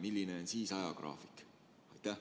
Milline on siis ajagraafik?